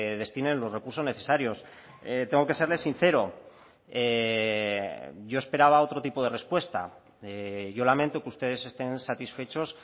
destinen los recursos necesarios tengo que serle sincero yo esperaba otro tipo de respuesta yo lamento que ustedes estén satisfechos